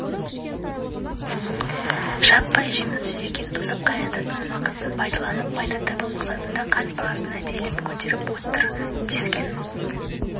жаппай жеміс-жидектен тосап қайнататын уақытын пайдаланып пайда табу мақсатында қант бағасын әдейілеп көтеріп отыр дескен